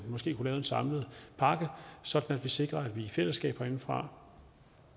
lave en samlet pakke sådan at vi sikrer at vi i fællesskab herindefra